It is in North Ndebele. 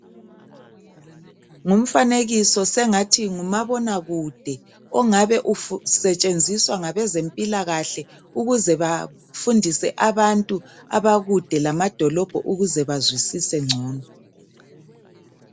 Ngumfanekiso, sengathi ngumabonakude. Ongabe usetshenziswa ngabezempilakahle, ukuze bafundise abantu, abakude lamadolobho ukuze bazwisise ngcono.